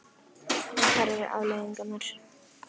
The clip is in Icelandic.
En hverjar eru afleiðingarnar?